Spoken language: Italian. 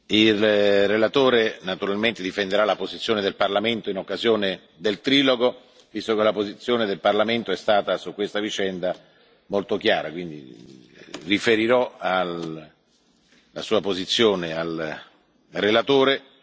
Il relatore naturalmente difenderà la posizione del Parlamento in occasione del trilogo, visto che la posizione del Parlamento è stata su questa vicenda molto chiara, quindi riferirò la Sua posizione al relatore,